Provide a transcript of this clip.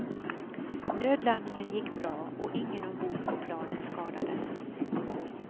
Nödlandningen gick bra och ingen ombord på planet skadades.